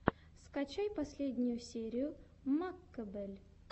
скачай последнюю серию маккобель